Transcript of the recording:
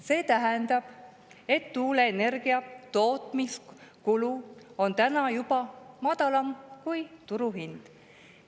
See tähendab, et tuuleenergia tootmise kulu on juba madalam kui turuhind.